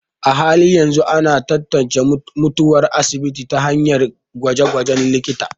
A halin yanzu, ana tantance mutuwar asibiti ta hanyar gwaje-gwajen likita.